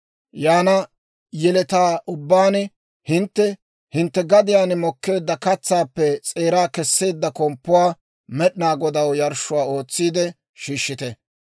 Yaana yeletaa ubbaan hintte hintte gadiyaan mokkeedda katsaappe s'eeraa Kesseedda komppuwaa, Med'inaa Godaw yarshshuwaa ootsiide shiishshite.